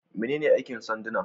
Menene aikin sanduna?